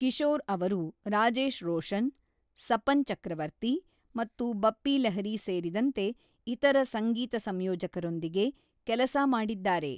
ಕಿಶೋರ್ ಅವರು ರಾಜೇಶ್ ರೋಷನ್, ಸಪನ್ ಚಕ್ರವರ್ತಿ ಮತ್ತು ಬಪ್ಪಿ ಲಹಿರಿ ಸೇರಿದಂತೆ ಇತರ ಸಂಗೀತ ಸಂಯೋಜಕರೊಂದಿಗೆ ಕೆಲಸ ಮಾಡಿದ್ದಾರೆ.